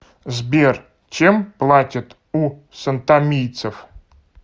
сбер чем платят у сантомийцев